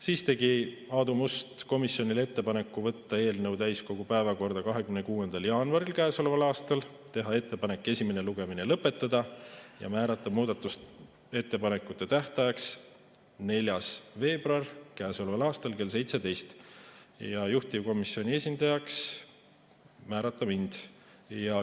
Siis tegi Aadu Must komisjonile ettepaneku võtta eelnõu täiskogu päevakorda 26. jaanuaril käesoleval aastal, teha ettepanek esimene lugemine lõpetada ja määrata muudatusettepanekute tähtajaks 4. veebruar käesoleval aastal kell 17 ja juhtivkomisjoni esindajaks määrata mind.